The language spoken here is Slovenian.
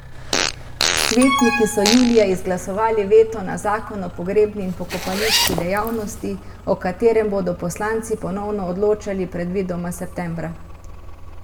Svetniki so julija izglasovali veto na zakon o pogrebni in pokopališki dejavnosti, o katerem bodo poslanci ponovno odločali predvidoma septembra.